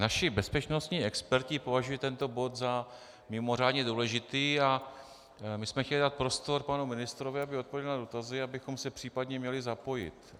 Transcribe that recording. Naši bezpečnostní experti považují tento bod za mimořádně důležitý a my jsme chtěli dát prostor panu ministrovi, aby odpověděl na dotazy, abychom se případně měli zapojit.